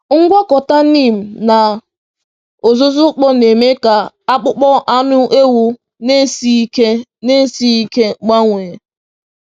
Ngwakọta neem na uzuzu ukpo na-eme ka akpụkpọ anụ ewu na-esighị ike na-esighị ike gbanwee.